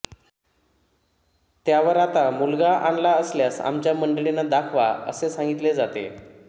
त्यावर आता मुलगा आणला असल्यास आमच्या मंडळीना दाखवा असे सांगितले जाते